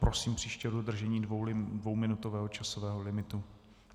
Prosím příště o dodržení dvouminutového časového limitu.